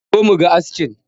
Zo mu ga askin!